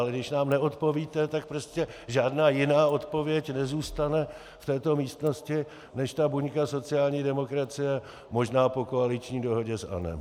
Ale když nám neodpovíte, tak prostě žádná jiná odpověď nezůstane v této místnosti než ta buňka sociální demokracie, možná po koaliční dohodě s ANO.